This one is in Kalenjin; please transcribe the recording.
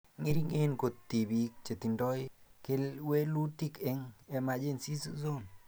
Ng'ering'en kot tibiik chetindoi kewelutik eng emergency zones